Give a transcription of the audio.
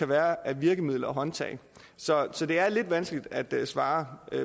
være af virkemidler og håndtag så så det er lidt vanskeligt at svare